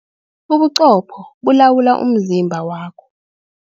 Ubuqopho bulawula umzimba wakho.